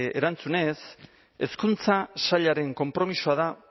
erantzunez hezkuntza sailaren konpromisoa da